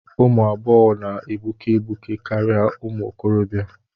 Ụmụ agbọghọ na-egbuke egbuke karịa ụmụ okorobịa.